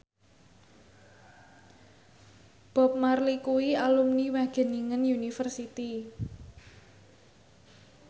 Bob Marley kuwi alumni Wageningen University